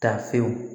Tafew